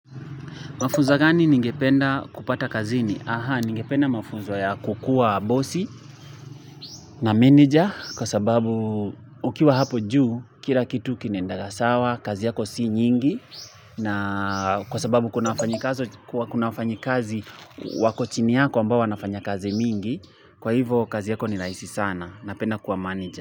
Mafunzo gani ningependa kupata kazini? Aha, ningependa mafunzo ya kukuwa bossi na manager kwa sababu ukiwa hapo juu, kila kitu kinendaga sawa, kazi yako si nyingi na kwa sababu kuna wafanyikazi kuna wafanyikazi wako chini yako ambao wanafanya kazi mingi, kwa hivyo kazi yako nirahisi sana na penda kua manija.